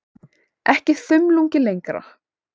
Ekki þumlungi lengra.